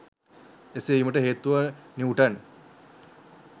එසේ වීමට හේතුව නිවුටන්